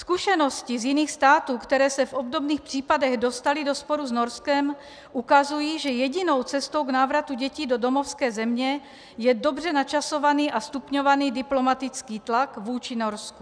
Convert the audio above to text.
Zkušenosti z jiných států, které se v obdobných případech dostaly do sporu s Norskem, ukazují, že jedinou cestou k návratu dětí do domovské země je dobře načasovaný a stupňovaný diplomatický tlak vůči Norsku.